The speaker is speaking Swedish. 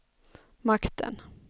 makten